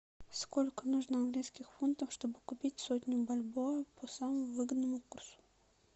сколько нужно английских фунтов чтобы купить сотню бальбоа по самому выгодному курсу